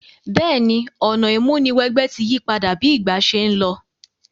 Béèni, ọ̀nà ìmúniwẹgbẹ́ ti yípadà bi ìgbà se n lo